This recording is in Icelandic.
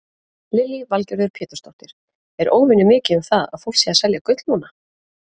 Lillý Valgerður Pétursdóttir: Er óvenjumikið um það að fólk sé að selja gull núna?